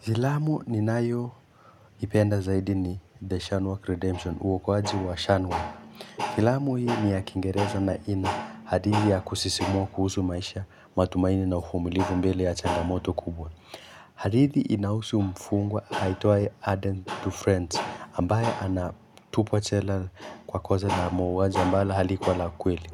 Filamu ninayo ipenda zaidi ni The Shanwalk Redemption uokoaji wa Shanwalk. Filamu hii ni ya kingereza na ina hadithi ya kusisimua kuhusu maisha matumaini na uvumulivu mbele ya changamoto kubwa. Hadithi inahusu mfungwa aitwaye Adan to Friends ambaye anatupwa jela kwa kosa la mauwaji mbalo haliku la kweli.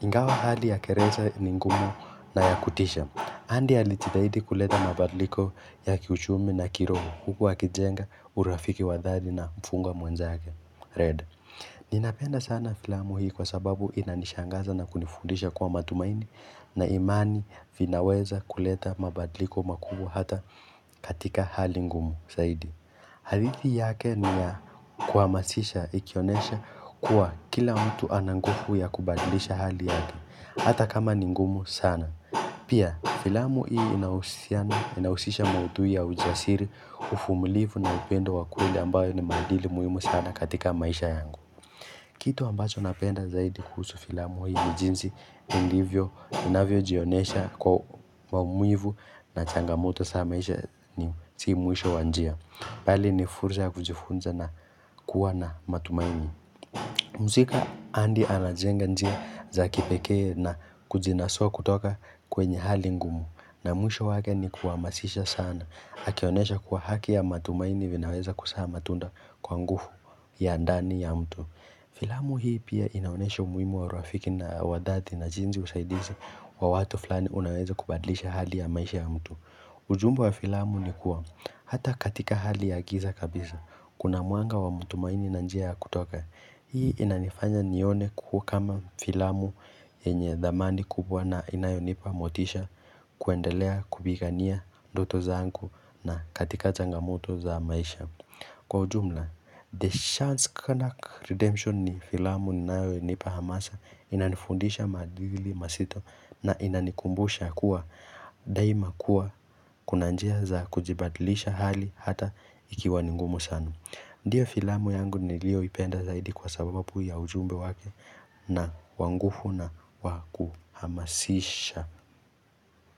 Ingawa hali ya gereza ni ngumu na ya kutisha Andi alijitahidi kuleta mabadiliko ya kiuchumi na kiroho Huku akijenga urafiki wa dhati na mfungwa mwenzake Red Ninapenda sana filamu hii kwa sababu inanishangaza na kunifundisha kwa matumaini na imani vinaweza kuleta mabadliko makuu hata katika hali ngumu zaidi hadithi yake ni ya kuhamasisha ikionyesha kuwa kila mtu ana nguvu ya kubadilisha hali yake Hata kama ni ngumu sana Pia filamu hii inahusiana inahusisha maudhu ya ujasiri uvumulivu na upendo wa kweli ambayo ni maadili muhimu sana katika maisha yangu Kitu ambacho napenda zaidi kusu filamu hii ni jinsi ilivyo inavyo jionyesha kwa maumivu na changamoto za maisha si mwisho wa njia bali ni fursa ya kujifunza na kuwa na matumaini mhusa andi anajenga njia za kipeke na kujinasua kutoka kwenye hali ngumu na mwisho wake ni kuhamasisha sana akionyesha kuwa haki ya matumaini vinaweza kusaa matunda kwa ngufu ya andani ya mtu filamu hii pia inaonesha umuhimu wa rafiki na wadhati na jinzi usaidizi wa watu fulani unaweza kubadlisha hali ya maisha ya mtu ujumbe wa filamu ni kuwa hata katika hali ya giza kabisa. Kuna mwanga wa mutumaini na njia ya kutoka. Hii inanifanya nione kuko kama filamu yenye dhamani kubwa na inayo nipa motisha kuendelea kubigania doto zanku na katika changamoto za maisha. Kwa ujumla, The Chance Canuck Redemption ni filamu ninawe nipa hamasa inanifundisha madili mazito na inanikumbusha kuwa daima kuwa kunanjia za kujibadilisha hali hata ikiwa ningumo sanu. Ndiyo filamu yangu niliyo ipenda zaidi kwa sabababu ya ujumbe wake na wanguvu na wakuhamasisha.